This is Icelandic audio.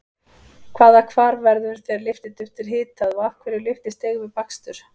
Hvaða hvarf verður þegar lyftiduft er hitað og af hverju lyftist deig við bakstur?